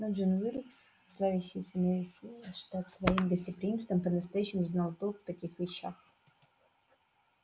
но джон уилкс славящийся на весь штат своим гостеприимством по-настоящему знал толк в таких вещах